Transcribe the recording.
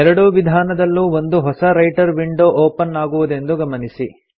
ಎರಡೂ ವಿಧಾನದಲ್ಲೂ ಒಂದು ಹೊಸ ರೈಟರ್ ವಿಂಡೊ ಒಪನ್ ಆಗುವುದೆಂದು ಗಮನಿಸಿ